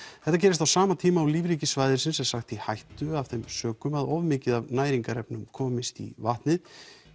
þetta gerist á sama tíma og lífríki svæðisins er sagt í hættu af þeim sökum að of mikið af næringarefnum komist í vatnið